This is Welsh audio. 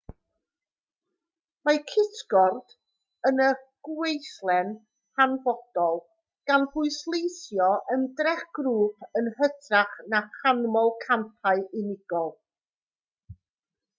mae cytgord yn y gweithle'n hanfodol gan bwysleisio ymdrech grŵp yn hytrach na chanmol campau unigol